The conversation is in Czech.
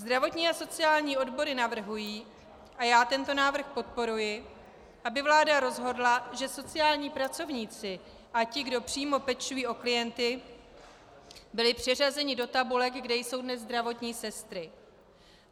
Zdravotní a sociální odbory navrhují, a já tento návrh podporuji, aby vláda rozhodla, že sociální pracovníci a ti, kdo přímo pečují o klienty, byli přeřazeni do tabulek, kde jsou dnes zdravotní sestry.